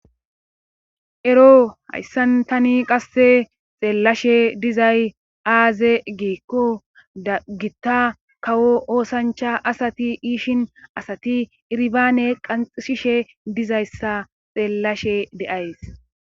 Ero hayssan tani qasse xeellashe dizay aaze giikko dagitta kawo oosancha asati iishin asati irbaane qanxishishe dizayssa xeellashe de7ays.